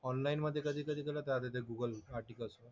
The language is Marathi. ऑनलाईन मधे कधीकधी गलत राहते ते गूगल आर्टिकल्स.